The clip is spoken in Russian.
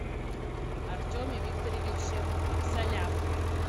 артеме викторовиче абсалямове